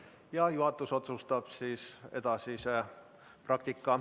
Ja juhatus otsustab siis edasise praktika.